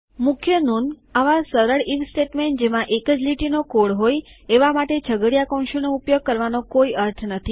મુખ્ય નોંધ આવા સરળ આઇએફ સ્ટેટમેન્ટ જેમાં એક જ લીટીનો કોડ હોય એવા માટે છગડીયા કૌંસોનો ઉપયોગ કરવાનો કોઈ અર્થ નથી